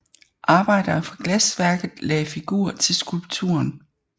Arbejdere fra glasværket lagde figur til skulpturen